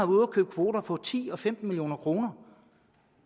ude at købe kvoter for ti og femten million kroner